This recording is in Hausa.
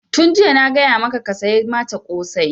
Tun jiya na gaya maka ka saya mata ƙosai!